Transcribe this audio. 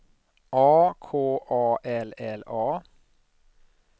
A K A L L A